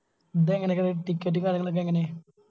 ഇതേങ്ങാനൊക്കെ Ticket ഉം കാര്യങ്ങളൊക്കെ എങ്ങനെ